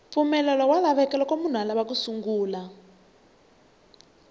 mpfumelelo wa lavekaloko munhu alava ku sungula bindzu